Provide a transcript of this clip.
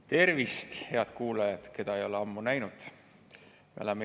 Tervist, head kuulajad, keda ei ole ammu näinud!